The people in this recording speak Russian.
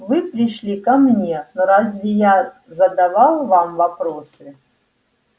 вы пришли ко мне но разве я задавал вам вопросы